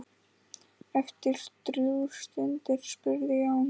Eftir drjúga stund spurði Jón